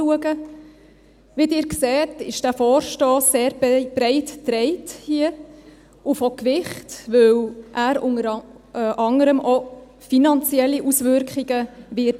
Wie Sie sehen, ist dieser Vorstoss hier sehr breit getragen und hat Gewicht, weil er unter anderem auch finanzielle Auswirkungen haben wird.